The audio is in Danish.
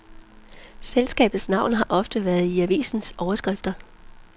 Selskabets navn har ofte været i avisernes overskrifter.